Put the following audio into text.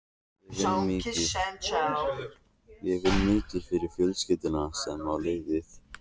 Ég vinn mikið fyrir fjölskylduna sem á liðið.